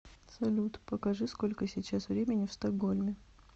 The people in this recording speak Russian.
салют покажи сколько сейчас времени в стокгольме